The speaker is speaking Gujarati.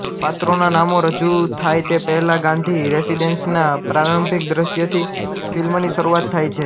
પાત્રોના નામો રજૂ થાય તે પહેલાં ગાંધી રેસિડેન્સના પ્રારંભિક દ્રશ્યથી ફિલ્મની શરૂઆત થાય છે